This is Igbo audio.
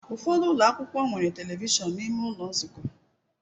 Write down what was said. Ụfọdụ ụlọ akwụkwọ nwere telivishọn n'ime ụlọ nzukọ.